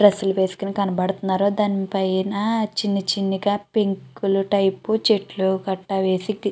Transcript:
dress లు వేసుకొని కనిపిస్తున్నారు దాని పైన చిన్ని చిన్నగా పింక్ టైపు గా చెట్లు పట్టా వేసి --